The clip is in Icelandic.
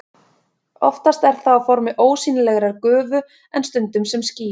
Oftast er það á formi ósýnilegrar gufu en stundum sem ský.